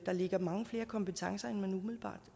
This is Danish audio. ligger mange flere kompetencer